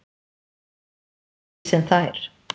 Hún var öðruvísi en þær.